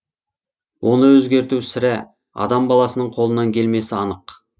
оны өзгерту сірә адам баласының қолынан келмесі анық